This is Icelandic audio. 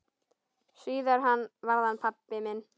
Síðar varð hann pabbi minn.